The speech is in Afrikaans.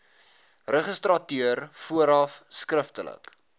registrateur vooraf skriftelik